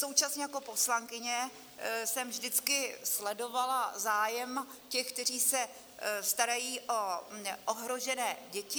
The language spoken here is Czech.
Současně jako poslankyně jsem vždycky sledovala zájem těch, kteří se starají o ohrožené děti.